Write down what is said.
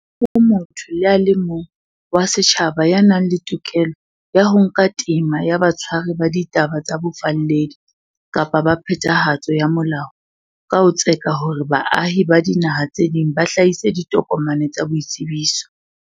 Ha ho motho le a mong wa setjhaba ya nang le tokelo ya ho nka tema ya batshwari ba ditaba tsa bofalledi kapa ba phethahatso ya molao ka ho tseka hore baahi ba dinaha tse ding ba hlahise ditokomane tsa boitsebiso.